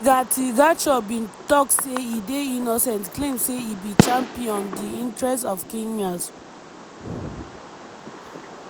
rigathi gachagua bin tok say e dey innocent claim say e be champion di interest of kenyans.